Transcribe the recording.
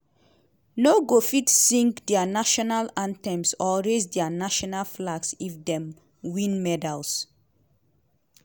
no go fit sing dia national anthems or raise dia national flags if dem win medals.